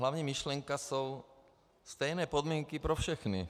Hlavní myšlenka jsou stejné podmínky pro všechny.